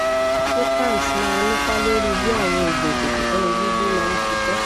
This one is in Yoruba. ṣé kalms máa nípa lórí bí àwọn oògùn ifeto somo bibi máa ń ṣiṣẹ